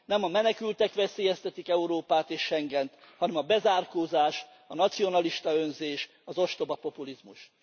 Nem a menekültek veszélyeztetik Európát és Schengent, hanem a bezárkózás, a nacionalista önzés, az ostoba populizmus.